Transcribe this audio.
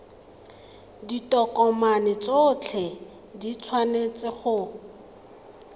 ditokomane tsotlhe di tshwanetse go